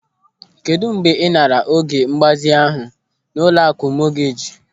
Kedụ mgbe ị naara oge mgbazinye ahụ n'ụlọakụ mọgeeji?